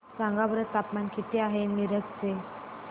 सांगा बरं तापमान किती आहे मिरज चे